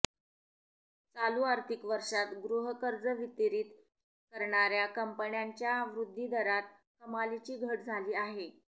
चालू आर्थिक वर्षात गृहकर्ज वितरित करणाऱ्या कंपन्यांच्या वृद्धिदरात कमालीची घट झाली आहे